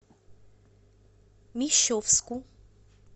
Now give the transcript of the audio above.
мещовску